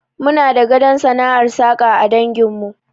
Muna da gadon sana'ar saƙa a dangin mu